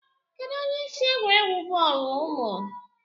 Kedụ onye isi egwuregwu bọọlu ụnụ?